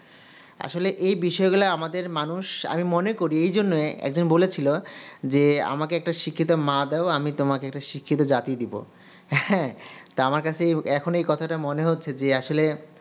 আসলে এই বিষয়গুলা আমাদের মানুষ আমি মনে এই জন্যই একজন বলেছিলো যে আমাকে শিক্ষিত একটা মা দাও আমি তোমাকে শিক্ষিত একটা জাতি দেবো হ্যা তো আমার কাছে এখন এই কথাটা মনে হচ্ছে যে আসলে